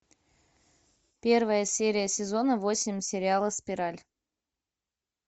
первая серия сезона восемь сериала спираль